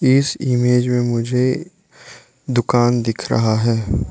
इस इमेज में मुझे दुकान दिख रहा है।